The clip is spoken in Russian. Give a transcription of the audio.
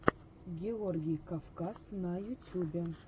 георгий кавказ на ютюбе